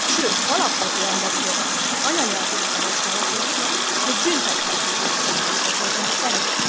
Sőt, alapvető emberi jogának, az anyanyelvének a használatakor még büntethetővé is válik a törvény szerint.